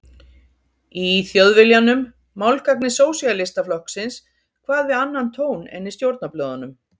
Í Þjóðviljanum, málgagni Sósíalistaflokksins, kvað við annan tón en í stjórnarblöðunum.